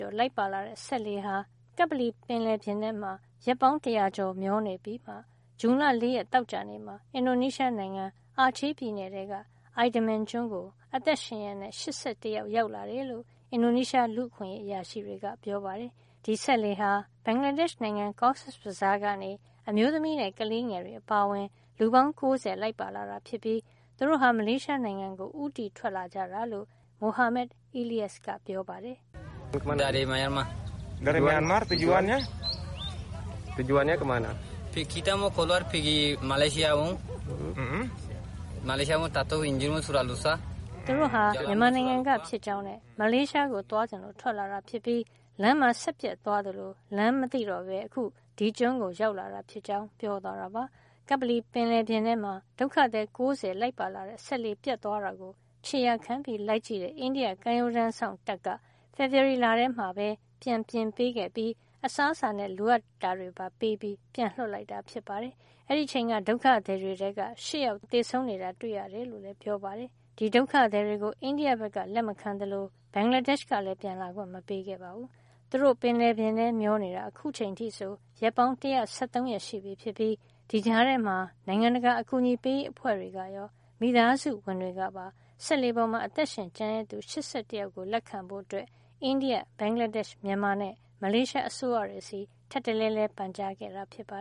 ျော်လိုက်ပါလာတဲ့ စက်လှေဟာ ကပ္ပလီပင်လယ်ပြင်ထဲမှာ ရက်ပေါင်း တရာကျော် မျောနေပြီးမှာ ဇွန်လ ၄ ရက် သောကြာနေ့မှာ အင်ဒိုနီးရှားနိုင်ငံ အာချယ်ပြည်နယ်ထဲက Idaman ကျွန်းကို အသက်ရှင်ရက် ၈၁ ယောက် ရောက်လာတယ်လို့ အင်ဒိုနီးရှား လူ့အခွင့်ရေးအရာရှိတွေက ပြောပါတယ်။ ဒီစက်လှေဟာ ဘင်္ဂလားဒေ့ရှ် နိုင်ငံ Cox's Bazar ကနေ အမျိုးသမီးနဲ့ ကလေးငယ်တွေ အပါအဝင် လူပေါင်း ၉၀ လိုက်ပါလာတာ ဖြစ်ပြီး သူတို့ဟာ မလေးရှားနိုင်ငံကို ဦးတည်ထွက်လာကြတာလို့ သင်္ဘောပေါ်မှာ လိုက်ပါလာတဲ့ မိုဟာမက် Eliyas က ပြောပါတယ်။ သူတို့ဟာ မြန်မာနိုင်ငံကဖြစ်ကြောင်းနဲ့ မလေးရှားကို သွားချင်လို့ ထွက်လာတာ ဖြစ်ပြီး လမ်းမှာ စက်ပျက်သွားသလို လမ်းမသိတော့ပဲ အခု ဒီကျွန်းကိုရောက်လာတာဖြစ်ကြောင်း ပြောသွားတာပါ။ ကပ္ပလီပင်လယ်ပြင်ထဲမှာ ဒုက္ခသည် ၉၀ လိုက်ပါလာတဲ့ စက်လှေ ပျက်သွားတာကို ခြေရာခံလိုက်ကြည့်တဲ့ အိန္ဒိယ ကမ်းရိုးတန်းစောင့်တပ်က ဖေဖေါ်ဝါရီလထဲမှာပဲ ပြန်ပြင်ပေးခဲ့ပြီး အစားအစာနဲ့ လိုအပ်တာတွေ ပေးပြီး ပြန်လွှတ်လိုက်တာ ဖြစ်ပါတယ်။ အဲဒီအချိန်က ဒုက္ခသည်တွေထဲက ၈ ယောက် သေဆုံးနေတာကို သူတို့ တွေ့ခဲ့ရ တယ်လို့လည်း ပြောပါတယ်။ ဒီဒုက္ခသည်တွေကို အိန္ဒိယက လက်မခံသလို ဘင်္ဂလာဒေ့ရှ် ကလည်း ပြန်လာခွင့် မပေးခဲ့ပါဘူး။ သူတို့ ပင်လယ်ထဲ မျောနေတာ အခုချိန်အထိဆို ရက်ပေါင်း ၁၁၃ ရက်ရှိပြီဖြစ်ပြီး ဒီကြားထဲမှာ နိုင်ငံတကာ အကူအညီပေးရေး အဖွဲ့တွေကရော မိသားစုဝင်တွေကပါ စက်လှေပေါ်မှာ အသက်ရှင် ကျန်ရစ်သူ ၈၁ ယောက်ကို လက်ခံဖို့ အိန္ဒိယ၊ ဘင်္ဂလားဒေ့ရှ်၊ မြန်မာနဲ့ မလေးရှား အစိုးရတွေဆီ ထပ်တလဲလဲ ပန်ကြားခဲ့တာပါ